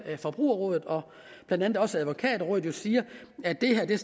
forbrugerrådet og blandt andet også advokatrådet siger at det her